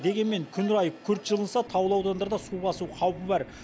дегенмен күн райы күрт жылынса таулы аудандарды су басу қаупі бар